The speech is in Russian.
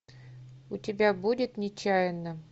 у тебя будет нечаянно